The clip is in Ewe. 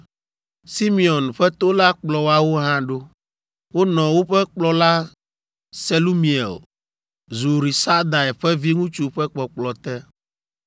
Simeon ƒe to la kplɔ woawo hã ɖo. Wonɔ woƒe kplɔla Selumiel, Zurisadai ƒe viŋutsu ƒe kpɔkplɔ te.